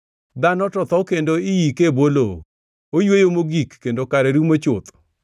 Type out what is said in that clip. Dhano to tho kendo iike e bwo lowo; oyweyo mogik, kendo kare rumo chuth.